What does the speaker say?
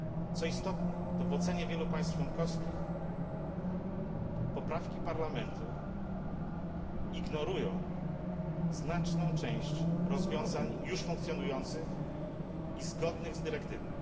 Co istotne, to w ocenie wielu państw członkowskich poprawki Parlamentu ignorują znaczną część rozwiązań już funkcjonujących i zgodnych z dyrektywą.